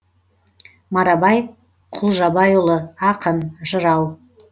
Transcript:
марабай құлжабайұлы ақын жырау